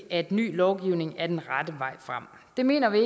at ny lovgivning er den rette vej frem det mener vi